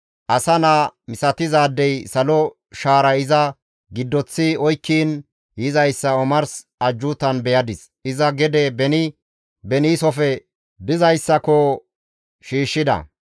«Asa naa misatizaadey salo shaaray iza giddoththi oykkiin yizayssa omars ajjuutan beyadis; iza gede beni beniisofe dizayssako shiishshida.